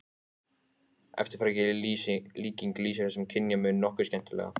Eftirfarandi líking lýsir þessum kynjamun nokkuð skemmtilega